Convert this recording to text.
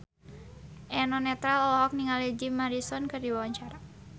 Eno Netral olohok ningali Jim Morrison keur diwawancara